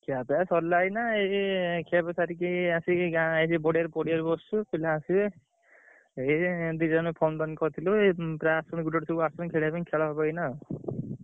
ଖିଆପିଆ ସରିଲା ଏଇନା ଏଇ ଖିଆପିଆ ସାରିକି ଏଇ ଆସିକି ଗାଁ ଏ ଯୋଉ ପଡିଆ ପଡିଆରେ ବସଚୁ। ପିଲା ଆସିବେ।